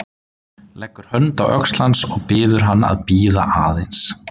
Leggur hönd á öxl hans og biður hann að bíða aðeins.